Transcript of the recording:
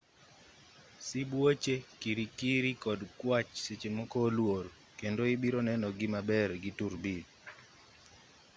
sibuoche kirikiri kod kwach sechemoko oluor kendo ibironeno gi maber gi turubin